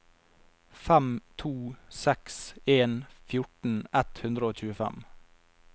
fem to seks en fjorten ett hundre og tjuefem